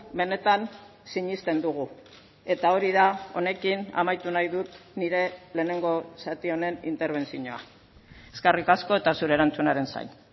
benetan sinesten dugu eta hori da honekin amaitu nahi dut nire lehenengo zati honen interbentzioa eskerrik asko eta zure erantzunaren zain